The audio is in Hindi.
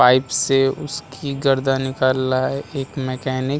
पाइप से उसकी गर्दन निकाल लाए एक मैंकेनिक --